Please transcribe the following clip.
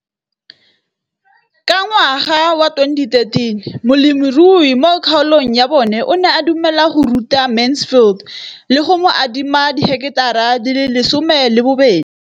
Ka ngwaga wa 2013, molemirui mo kgaolong ya bona o ne a dumela go ruta Mansfield le go mo adima di heketara di le 12 tsa naga.